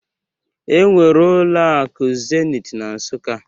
Enwere ụlọ akụ Zenit na Nsụka